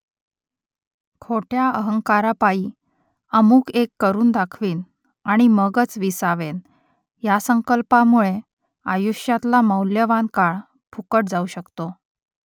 खोट्या अहंकारापायी अमुक एक करून दाखवीन आणि मगच विसावेन या संकल्पामुळे आयुष्यातला मौल्यवान काळ फुकट जाऊ शकतो